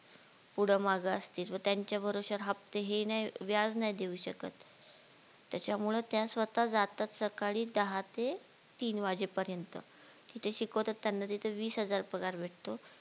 पुढं मागं असतील त्यांच्या भरोश्यावर हप्ते हे नाही व्याज नाही देऊ शकत त्याच्यामुळे त्या स्वतः जातात सकाळी दहा ते तीन वाजेपर्यंत तिथे शिकवतात त्यांना तिथं वीस हजार पगार भेटतो